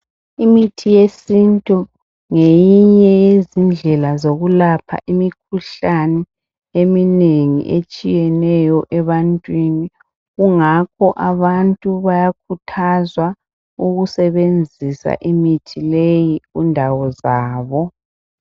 Imithi yesintu ngeyinye yezindlela zokulapha imikhuhlane eminengi etshiyeneyo ebantwini kungakho abantu bayakhuthazwa ukusebenzisa imithi leyi kundawo zabo.